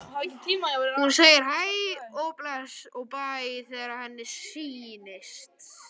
Hún segir hæ og bless og bæ þegar henni sýnist!